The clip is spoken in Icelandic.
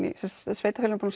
sveitarfélögin